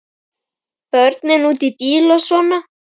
Börnin úti í bíl og svona.